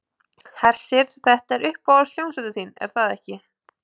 Hersir, þetta er uppáhalds hljómsveitin þín er það ekki?